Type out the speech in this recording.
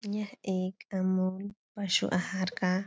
यह एक अमूल पशु आहार का --